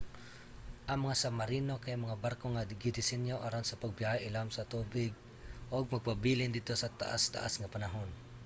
ang mga submarino kay mga barko nga gidisenyo aron sa pagbiyahe ilawom sa tubig ug magpabilin didto sa taas-taas nga panahon